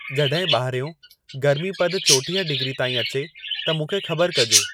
जॾहिं ॿाहिरियों गर्मी पदु चोटीह डिग्री ताईं अचे त मूंखे ख़बर कजो